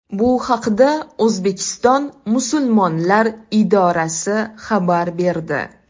Bu haqda O‘zbekiston musulmonlar idorasi xabar berdi.